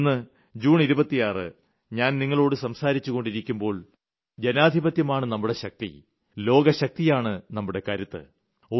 എന്നാൽ ഇന്ന് ജൂൺ 26 ഞാൻ നിങ്ങളോട് സംസാരിച്ചുകൊണ്ടിരിക്കുമ്പോൾ ജനാധിപത്യമാണ് നമ്മുടെ ശക്തി ലോകശക്തിയാണ് നമ്മുടെ കരുത്ത്